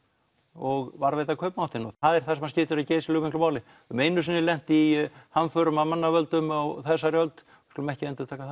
og varðveita kaupmáttinn það er það sem skiptir geysilega miklu máli höfum einu sinni lent í hamförum af mannavöldum á þessari öld skulum ekki endurtaka